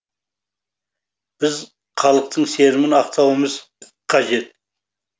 біз халықтың сенімін ақтауымыз қажет